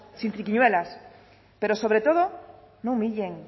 sin triquiñuelas pero sobre todo no humillen